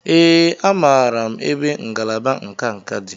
Ee, amaara m ebe ngalaba nka nka dị.